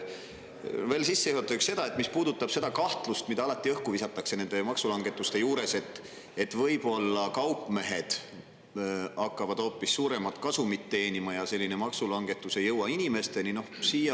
Veel sissejuhatuseks kahtlusest, mida alati õhku visatakse nende maksulangetuste juures, et võib-olla kaupmehed hakkavad hoopis suuremat kasumit teenima ja maksulangetus ei jõua inimesteni.